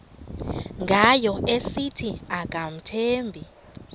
ngayo esithi akamthembi